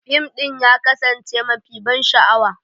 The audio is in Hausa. Fim ɗin ya kasance mafi ban sha'awa.